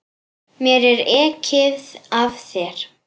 Mér er ekið af þér.